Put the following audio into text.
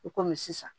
I komi sisan